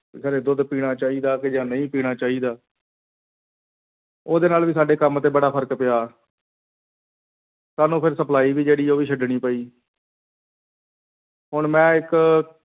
ਕਹਿੰਦੇ ਦੁੱਧ ਪੀਣਾ ਚਾਹੀਦਾ ਕਿ ਜਾਂ ਨਹੀਂ ਪੀਣਾ ਚਾਹੀਦਾ ਉਹਦੇ ਨਾਲ ਵੀ ਸਾਡੇ ਕੰਮ ਤੇ ਬੜਾ ਫ਼ਰਕ ਪਿਆ ਸਾਨੂੰ ਫਿਰ supply ਵੀ ਜਿਹੜੀ ਆ ਉਹ ਵੀ ਛੱਡਣੀ ਪਈ ਹੁਣ ਮੈਂ ਇੱਕ